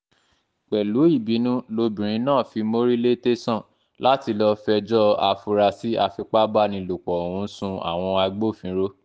pẹ̀lú ìbínú lobìnrin náà fi mórí lè tẹ̀sán láti lọ́ọ́ fẹjọ́ afurasí àfipábánilòpọ̀ ọ̀hún sun àwọn agbófinró